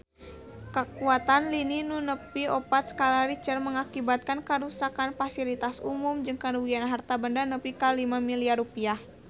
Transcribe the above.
Kakuatan lini nu nepi opat skala Richter ngakibatkeun karuksakan pasilitas umum jeung karugian harta banda nepi ka 5 miliar rupiah